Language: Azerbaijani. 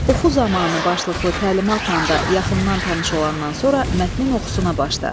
Oxu zamanı başlıqlı təlimatla da yaxından tanış olandan sonra mətnin oxusuna başla.